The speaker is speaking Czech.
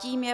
Tím je